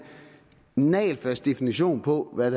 nagelfast definition på hvad